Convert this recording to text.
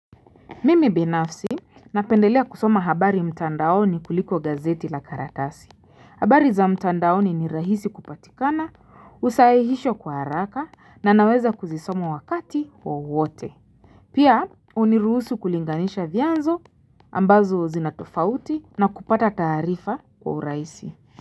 Mimi binafsi, napendelea kusoma habari mtandaoni kuliko gazeti la karatasi. Habari za mtandaoni ni rahisi kupatikana, husahihishwa kwa haraka na naweza kuzisoma wakati wowote. Pia, huniruhusu kulinganisha vianzo ambazo zinatofauti na kupata taarifa wa urahisi.